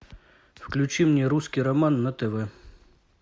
включи мне русский роман на тв